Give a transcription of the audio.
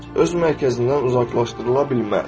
Öz mərkəzindən uzaqlaşdırıla bilməz.